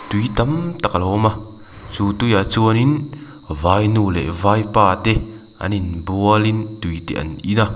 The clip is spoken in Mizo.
tui tam tak a lo awm a chu tui ah chuan in vainu leh vaipa te an in bual in tui te an in a.